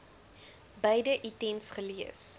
beide items gelees